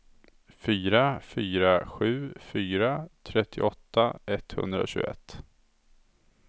fyra fyra sju fyra trettioåtta etthundratjugoett